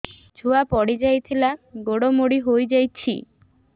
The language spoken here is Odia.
ଛୁଆ ପଡିଯାଇଥିଲା ଗୋଡ ମୋଡ଼ି ହୋଇଯାଇଛି